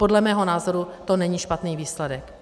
Podle mého názoru to není špatný výsledek.